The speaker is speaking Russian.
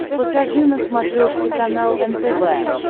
покажи на смотрешке канал нтв